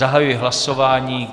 Zahajuji hlasování.